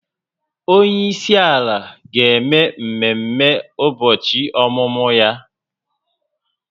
Onye isi ala ga-eme mmemme ụbọchị ọmụmụ ya echi